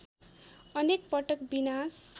अनेक पटक विनाश